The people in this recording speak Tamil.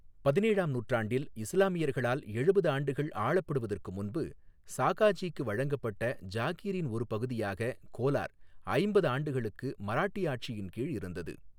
பதினேழாம் நூற்றாண்டில், இஸ்லாமியர்களால் எழுபது ஆண்டுகள் ஆளப்படுவதற்கு முன்பு சாகாஜிக்கு வழங்கப்பட்ட ஜாகிரின் ஒரு பகுதியாக கோலார் ஐம்பது ஆண்டுகளுக்கு மராட்டிய ஆட்சியின் கீழ் இருந்தது.